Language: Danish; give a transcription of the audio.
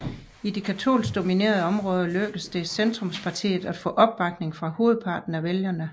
I de katolsk dominerede områder lykkedes det Centrumspartiet at få opbakning fra hovedparten af vælgerne